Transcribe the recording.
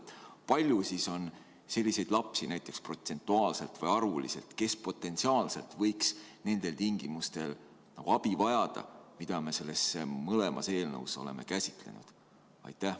Kui palju on selliseid lapsi, näiteks protsentuaalselt või arvuliselt, kes võiks abi vajada nendel tingimustel, mida me mõlemas eelnõus oleme käsitlenud?